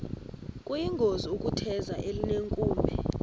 kuyingozi ukutheza elinenkume